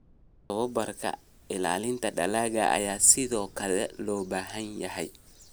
Tababarka ilaalinta dalagga ayaa sidoo kale loo baahan yahay.